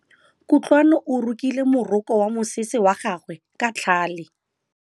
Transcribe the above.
Kutlwanô o rokile morokô wa mosese wa gagwe ka tlhale.